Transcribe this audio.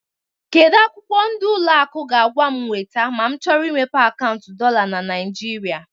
Kedu akwụkwọ ndi ụlọ akụ ga-agwa m weta ma m chọrọ imepe akaụntụ dollar na Nigeria?